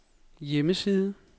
hjemmeside